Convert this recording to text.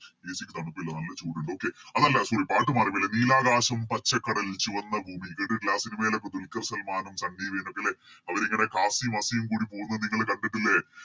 AC ക്ക് തണുപ്പില്ല നല്ല ചൂട്ണ്ട് Okay അല്ലല്ല Sorry പാട്ട് മാറി പോയി നീലാകാശം പച്ചക്കടൽ ചുവന്ന ഭൂമി കേട്ടിട്ടില്ലേ ആ Cinema യിലോക്കെ ദുൽക്കർ സൽമാനും സണ്ണി വെയിനൊക്കെ ലെ അവരിങ്ങനെ കാസിം വസിം കൂടി പോകുന്നത് നിങ്ങള് കണ്ടിട്ടില്ലേ